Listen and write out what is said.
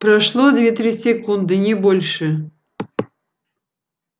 прошло две-три секунды не больше